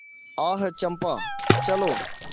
आह चंपा चलो